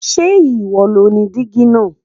Ṣe iwo lo ni diji naa